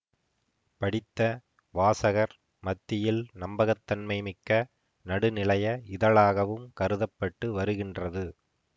படித்த வாசகர் மத்தியில் நம்பகத்தன்மை மிக்க நடுநிலைய இதழாகவும் கருத பட்டு வருகின்றது